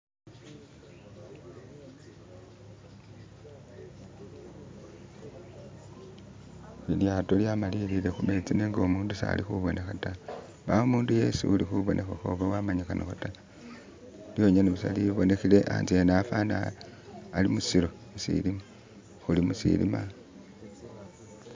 lilyato lyamalilile humetsi nenga umuntu sali huboneha ta mbawo umundu yesi uli hubonehaho oba wamanyihaho ta lyonyene busa libonehele antse afana ali musilo musilima huli musilima